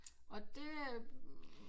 Og det er